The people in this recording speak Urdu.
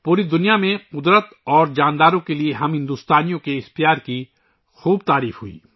پوری دنیا میں فطرت اور جانوروں کے لئے ہم ہندوستانیوں کی اس محبت کو بہت سراہا گیا